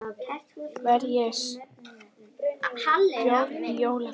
Verð ég stjóri á jóladag?